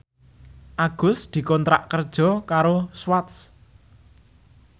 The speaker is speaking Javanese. Agus dikontrak kerja karo Swatch